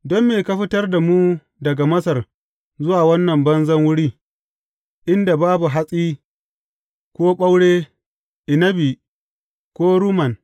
Don me ka fitar da mu daga Masar zuwa wannan banzan wuri, inda babu hatsi ko ɓaure, inabi ko rumman.